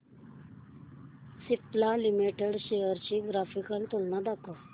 Cipla limited shares ची graphical तुलना दाखव